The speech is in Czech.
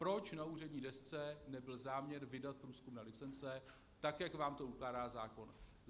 Proč na úřední desce nebyl záměr vydat průzkumné licence, tak jak vám to ukládá zákon?